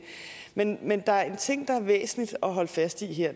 men men der er en ting det er væsentligt at holde fast i her